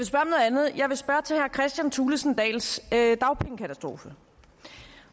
andet jeg vil spørge til herre kristian thulesen dahls dagpengekatastrofe